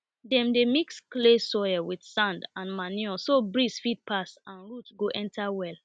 dem dey mix clay soil with sand and manure so breeze fit pass and root go enter well